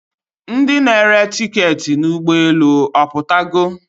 Ndi na-ere tiketị n'ụgbọelu aputogo?